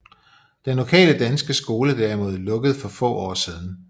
Den lokale danske skole derimod lukkede for få år siden